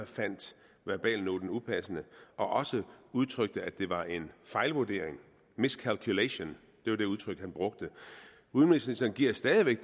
fandt verbalnoten upassende og også udtrykte at det var en fejlvurdering miscalculation var det udtryk han brugte udenrigsministeren giver stadig væk